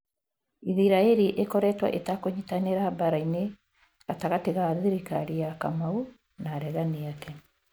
Isiraĩri ĩkoretwo itakũnyitanĩra mbara-inĩ gatagati ga thirikari ya kamau na aregani ake